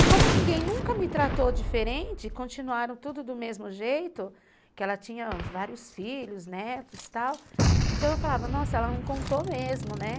E como ninguém nunca me tratou diferente, continuaram tudo do mesmo jeito, porque ela tinha vários filhos, netos e tal, então eu falava, nossa, ela não contou mesmo, né?